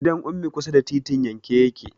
Gidan Ummi kusa da titin yanke yake.